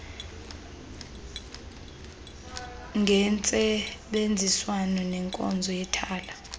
ngentsebenziswano nenkonzo yethala